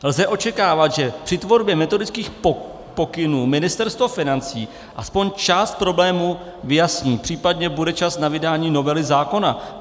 Lze očekávat, že při tvorbě metodických pokynů Ministerstvo financí aspoň část problémů vyjasní, případně bude čas na vydání novely zákona.